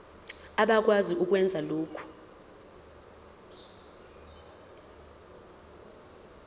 abakwazi ukwenza lokhu